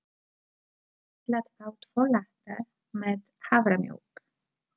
Ég ætla að fá tvo latte með haframjólk.